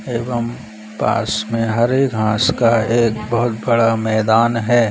एवं पास में हरे घास का एक बहुत बड़ा मैदान हैं।